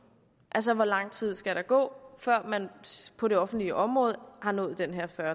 altså hvor lang tid der skal gå før man på det offentlige område har nået den her fyrre